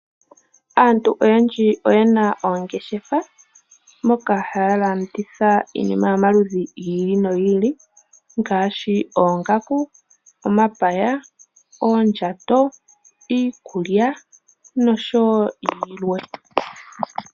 Aantu oyendji oyena oongeshefa moka haya landitha iinima yomaludhi gi ili nogi ili ngaashi oongaku, omapaya, oondjato, iikulya noshowo yilwe.